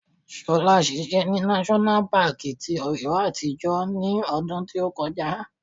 Fola ṣiṣẹ́ ní náṣọ́nà paàkì ti Ọ̀yọ́ àtijọ́ ní ọdún tí ó kọjá